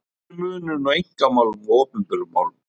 Hver er munurinn á einkamálum og opinberum málum?